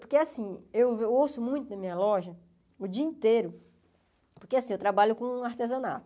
Porque assim, eu ouço muito na minha loja, o dia inteiro, porque assim, eu trabalho com artesanato.